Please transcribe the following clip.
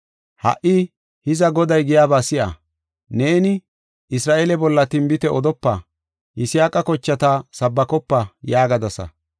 Ha77i hiza Goday giyaba si7a! Neeni, ‘Isra7eele bolla tinbite odopa; Yisaaqa kochata sabbakopa’ yaagadasa.